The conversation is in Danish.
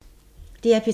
DR P3